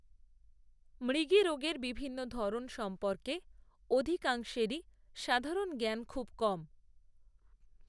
মৃগীরোগের বিভিন্ন ধরন সম্পর্কে, অধিকাংশেরই সাধারণ জ্ঞান খুব কম